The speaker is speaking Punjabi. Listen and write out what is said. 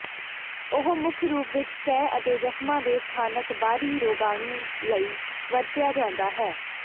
ਉਹ ਮੁੱਖ ਰੂਪ ਵਿੱਚ ਸਤਹ ਅਤੇ ਜ਼ਖ਼ਮਾਂ ਦੇ ਸਥਾਨਕ ਬਾਹਰੀ ਰੋਗਾਣੂ ਲਈ ਵਰਤਿਆ ਜਾਂਦਾ ਹੈ